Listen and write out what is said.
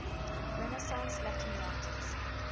renaissance latin writers